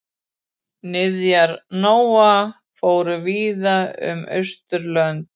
Niðjar Nóa fóru víða um Austurlönd.